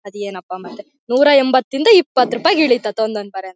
ಅದೇನಪ್ಪ ಮತ್ತೆ ನೂರಾಎಂಬತ್ ಯಿಂದು ಇಪ್ಪತ್ ರೂಪಾಯಿ ಗೆ ಇಳಿತಂತ್ ಒಂದೊಂದ್ ಪರ --